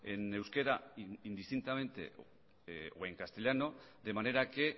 en euskera indistintamente o en castellano de manera que